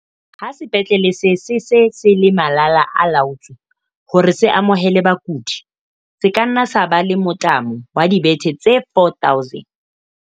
Ha sepetlele se se se le malala-a-laotswe hore se amohele bakudi, se ka nna sa ba le mothamo wa dibethe tse 4 000.